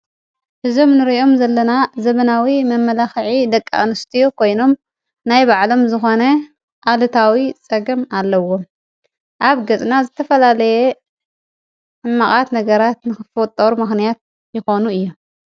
እዞም ንርእዮም ዘለና ዘመናዊ መመላኽዒ ደቂኣንስትዮ ኮይኖም ናይ ባዕሎም ዝኾነ ኣልታዊ ፀገም ኣለዎም። ኣብ ገፅና ዝተፈላለየ ሕማቃት ነገራት ንክፍጠሩ ምክንያት ይኾኑ እዮም።